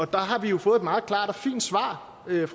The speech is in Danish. der har vi jo fået et meget klart og fint svar af